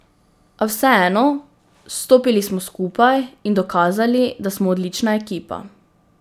A vseeno, stopili smo skupaj in dokazali, da smo odlična ekipa.